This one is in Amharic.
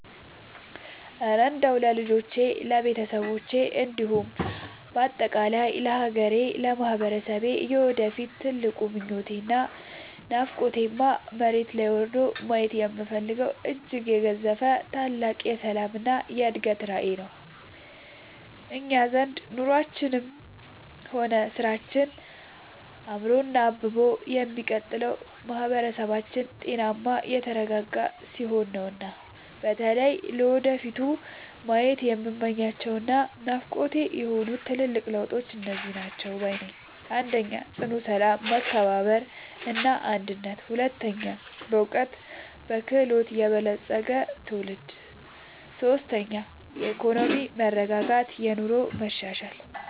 እረ እንደው ለልጆቼ፣ ለቤተሰቤ እንዲሁም በአጠቃላይ ለሀገሬና ለማህበረሰቤ የወደፊት ትልቁ ምኞቴና ናፍቆቴማ፣ መሬት ላይ ወርዶ ማየት የምፈልገው እጅግ የገዘፈ ታላቅ የሰላምና የእድገት ራዕይ ነው! እኛ ዘንድ ኑሯችንም ሆነ ስራችን አምሮና አብቦ የሚቀጥለው ማህበረሰባችን ጤናማና የተረጋጋ ሲሆን ነውና። በተለይ ለወደፊቱ ማየት የምመኛቸውና ናፍቆቴ የሆኑት ትልልቅ ለውጦች እነዚህ ናቸው ባይ ነኝ፦ 1. ጽኑ ሰላም፣ መከባበርና አንድነት 2. በዕውቀትና በክህሎት የበለፀገ ትውልድ 3. የኢኮኖሚ መረጋጋትና የኑሮ መሻሻል